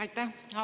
Aitäh!